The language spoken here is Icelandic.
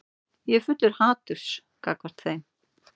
Ég er fullur haturs gagnvart þeim.